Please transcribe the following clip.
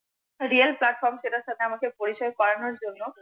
REAL PLATFORM সেটার সাথে আমাকে পরিচয় করানোর জন্য